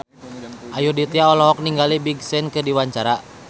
Ayudhita olohok ningali Big Sean keur diwawancara